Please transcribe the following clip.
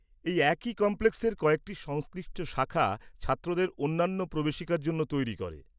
এই একই কমপ্লেক্সের কয়েকটি সংশ্লিষ্ট শাখা ছাত্রদের অন্যান্য প্রবেশিকার জন্য তৈরি করে।